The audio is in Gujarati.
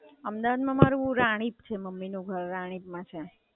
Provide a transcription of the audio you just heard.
અમદાવાદ માં મારુ રાણીપ છે મમ્મી નું ઘર રાણીપ માં છે.